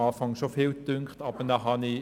Zu Beginn erschien mir das schon als viel.